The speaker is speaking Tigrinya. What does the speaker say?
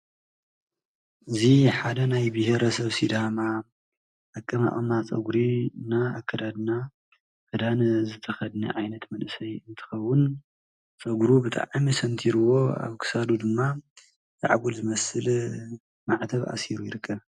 እዚ ሓደ ናይ ብሄረሰብ ሲዳማ ኣቀማቅማ ፀጉሪ እና ኣከዳድና ክዳን ዝተከደነ ዓይነት መንእሰይ እንትከዉን ፀጉሩ ብጣዕሚ ሰንቲርዎ ኣብ ክሳዱ ድማ ዛዕጎል ዝመስል ማዕተብ ኣሲሩ ይርከብ።